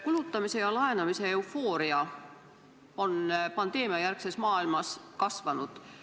Kulutamise ja laenamise eufooria on pandeemiajärgses maailmas kasvanud.